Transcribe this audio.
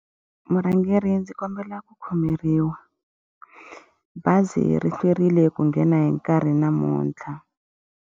Murhangeri ndzi kombela ku khomeriwa. Bazi ri hlwerile ku nghena hi nkarhi namuntlha.